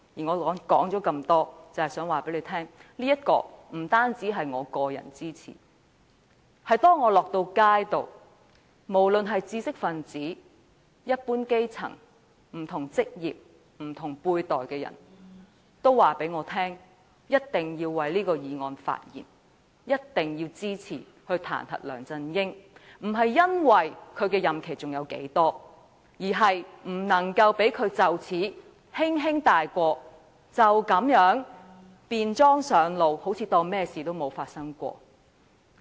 我說了這麼多，無非想告訴大家，不單我個人支持，當我走在街上，無論是知識分子、一般基層、不同職業及不同輩的人均告訴我，一定要為這項議案發言，一定要支持彈劾梁振英，姑勿論他的任期還剩多少，都不能讓他就此輕輕開脫，就像甚麼都沒有發生過。